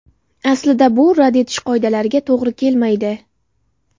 Aslida bu rad etish qoidalariga to‘g‘ri kelmaydi.